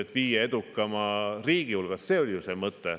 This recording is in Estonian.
Tema ütles, et me peaksime olema viie edukama riigi hulgas – see oli ju see mõte.